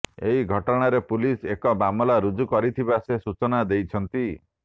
ଏହି ଘଟଣାରେ ପୁଲିସ ଏକ ମାମଲା ରୁଜ୍ଜୁ କରିଥିବା ସେ ସୂଚନା ଦେଇଛନ୍ତି